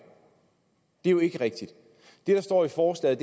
det er jo ikke rigtigt det der står i forslaget